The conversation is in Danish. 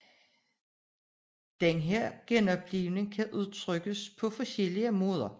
Denne genoplivning kan udtrykkes på forskellige måder